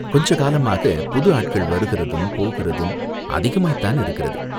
கொஞ்ச காலமாகப் புது ஆட்கள் வருகிறதும் போகிறதும் அதிகமாய்த் தானிருக்கிறது.